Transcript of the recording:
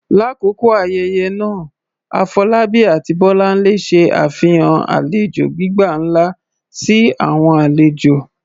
Lakoko ayẹyẹ naa, Afolabi ati Bolanle ṣe afihan alejo gbigba nla si awọn alejo.